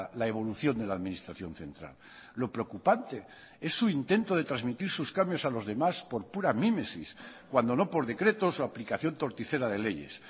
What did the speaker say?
la evolución de la administración central lo preocupante es su intento de transmitir sus cambios a los demás por pura mimesis cuando no por decretos o aplicación torticera de leyes